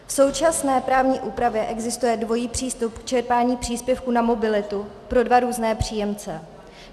V současné právní úpravě existuje dvojí přístup k čerpání příspěvku na mobilitu pro dva různé příjemce.